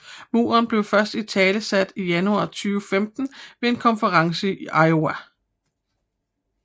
Muren blev først italesat i januar 2015 ved en konference i Iowa